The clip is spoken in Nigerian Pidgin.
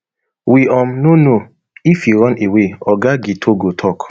we um no know if e run away oga githogo tok